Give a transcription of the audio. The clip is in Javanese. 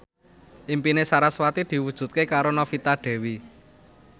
impine sarasvati diwujudke karo Novita Dewi